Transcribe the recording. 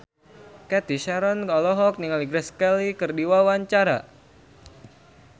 Cathy Sharon olohok ningali Grace Kelly keur diwawancara